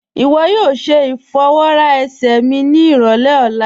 Iwọ yóò ṣẹ ifọwọra ẹ̀sẹ̀ mi ni irọlẹ̀ ọ̀la